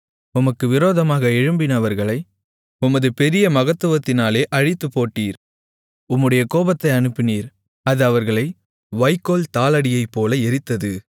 உமக்கு விரோதமாக எழும்பினவர்களை உமது பெரிய மகத்துவத்தினாலே அழித்துப்போட்டீர் உம்முடைய கோபத்தை அனுப்பினீர் அது அவர்களை வைக்கோல்தாளடியைப்போல எரித்தது